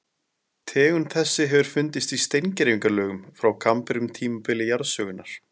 Tegund þessi hefur fundist í steingervingalögum frá kambríum tímabili jarðsögunnar.